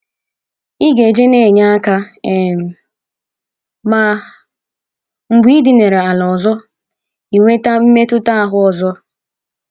Ịga ije na - enye aka um, ma mgbe i dinara ala ọzọ, i nweta mmaetuta ahụ ọzọ.